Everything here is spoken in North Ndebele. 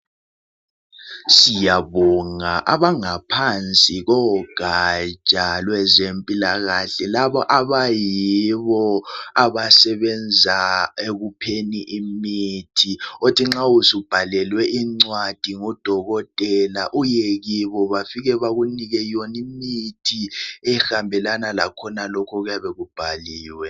Siyabonga abangaphansi kogaja lwezempilakahle laba abayibo abasebenza ngokunika abantu imithi abathhi masubhalelwe incwadi ngodokotela bafike bakunike imithi ehambelana lalokho okuyabe kubhaliwe